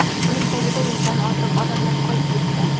Uning tagida yuzdan ortiq odamlar qolib ketdi.